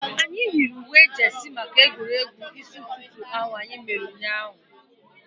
Anyị yiri uwe jeesi maka egwuregwu isi ụtụtụ ahu anyị mere ụnyaahụ